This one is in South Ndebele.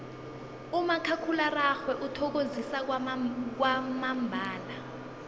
umakhakhulararhwe uthokozisa kwamambala